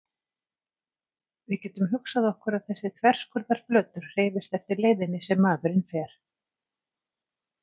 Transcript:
Við getum hugsað okkur að þessi þverskurðarflötur hreyfist eftir leiðinni sem maðurinn fer.